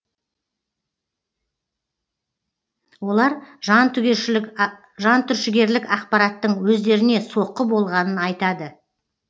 олар жантүршігерлік ақпараттың өздеріне соққы болғанын айтады